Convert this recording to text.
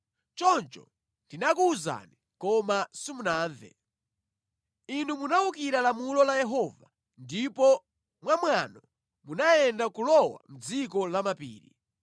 Choncho ndinakuwuzani koma simunamve. Inu munawukira lamulo la Yehova ndipo mwamwano munayenda kulowa mʼdziko la mapiri.